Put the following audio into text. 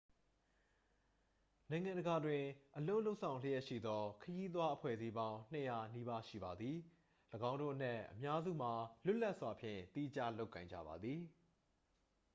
နိုင်ငံတကာတွင် အလုပ်လုပ်ဆောင်လျှက်ရှိသော ခရီးသွားအဖွဲ့အစည်းပေါင်း 200 နီးပါးရှိပါသည် ၎င်းတို့အနက်အများစုမှာ လွတ်လပ်စွာဖြင့်သီးခြားလုပ်ကိုင်ကြပါသည်